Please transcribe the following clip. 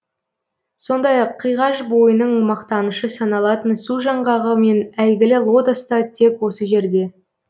сондай ақ қиғаш бойының мақтанышы саналатын су жаңғағы мен әйгілі лотос та тек осы жерде